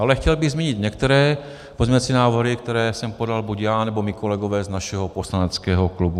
Ale chtěl bych zmínit některé pozměňovací návrhy, které jsem podal buď já, nebo mí kolegové z našeho poslaneckého klubu.